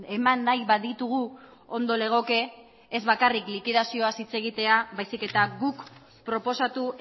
eman nahi baditugu ondo legoke ez bakarrik likidazioaz hitz egitea baizik eta guk proposatu